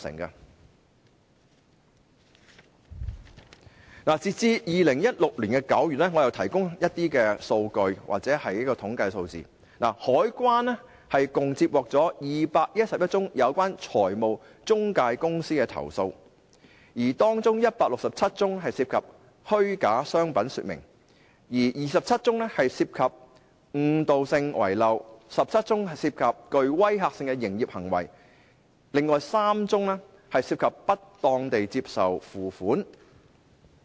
我提供一些數據或統計數字，截至2016年9月，香港海關共接獲211宗有關財務中介公司的投訴，當中167宗涉及虛假商品說明、27宗涉及誤導性遺漏、14宗涉及具威嚇性的營業行業，另外3宗涉及不當地接受付款。